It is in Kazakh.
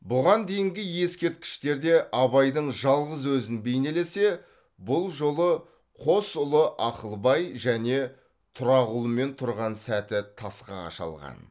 бұған дейінгі ескерткіштерде абайдың жалғыз өзін бейнеленсе бұл жолы қос ұлы ақылбай және тұрағұлмен тұрған сәті тасқа қашалған